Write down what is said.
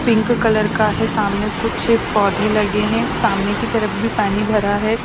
Pink colour का है सामने कुछ पौधे लगे हैं सामने की तरफ भी पानी भरा है।